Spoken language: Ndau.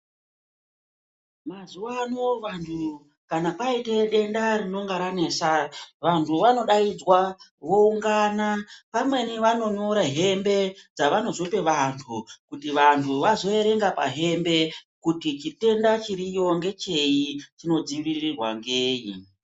Mazuwa ano vantu kana aite denda rinenge ranesa vantu vanodaidzwa voungana pamweni vanonyore hembe dzavanozope vantu kuti vantu vazoerenga pahembe kuti chitenda chiriyo ngechei chinodzivirirwa ngenyi.